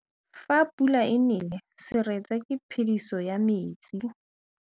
Fa pula e nelê serêtsê ke phêdisô ya metsi.